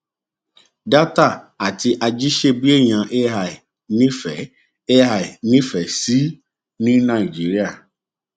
dátà àti ajíṣebíèèyàn ai nífẹ ai nífẹ sí ní nàìjíríà